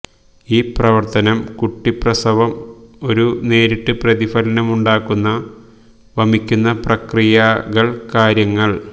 ഈ പ്രവർത്തനം കുട്ടി പ്രസവം ഒരു നേരിട്ട് പ്രതിഫലനമുണ്ടാക്കുന്ന വമിക്കുന്ന പ്രക്രിയകൾ കാര്യങ്ങള്